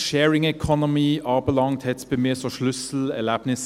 Auch was Sharing Economy anbelangt, gab es für mich Schlüsselerlebnisse.